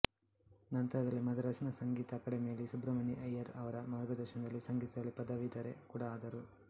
ನಂತರದಲ್ಲಿ ಮದರಾಸಿನ ಸಂಗೀತ ಅಕಾಡೆಮಿಯಲ್ಲಿ ಸುಬ್ರಮಣಿ ಅಯ್ಯರ್ ಅವರ ಮಾರ್ಗದರ್ಶನದಲ್ಲಿ ಸಂಗೀತದಲ್ಲಿ ಪದವೀಧರೆ ಕೂಡ ಆದರು